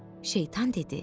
Şeytan dedi: